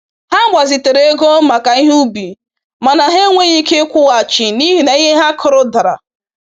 Ha gbazitere ego maka ihe ubi mana ha enweghị ike ịkwụghachi n’ihi na ihe ha kụrụ dara.